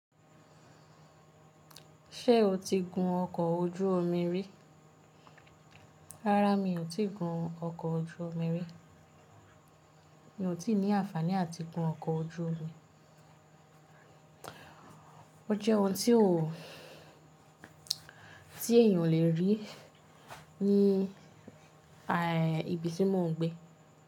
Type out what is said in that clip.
Ṣé o ti gun ọkọ̀ ojú omi rí? Rárá, mi ò tí ì gun ọkọ̀ ojú omi rí. Mi ò tí ì ní àǹfààní àti gun ọkọ̀ ojú omi. Ó jẹ́ ohun tí ó, tí èèyàn lè rí ní, ẹ́ẹ̀, ibi tí mò ń gbé.